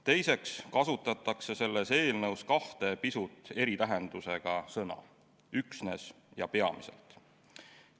Teiseks kasutatakse selles eelnõus kahte pisut eri tähendusega sõna: "üksnes" ja "peamiselt".